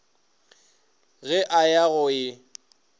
ge a ya go e